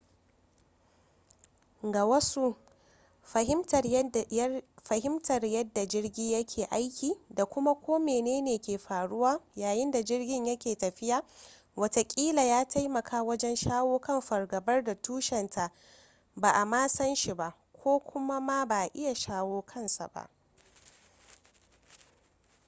ga wasu fahimtar yadda jirgi yake aiki da kuma ko mene ne ke faruwa yayin da jirgin yake tafiya watakila ya taimaka wajen shawo kan fargabar da tushenta ba a ma san shi ba ko kuma ma ba a iya shawo kansa